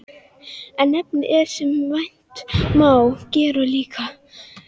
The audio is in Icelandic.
En efnið er, sem vænta má, gerólíkt.